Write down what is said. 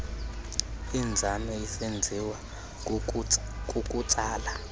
inzame isenziwa kukutsala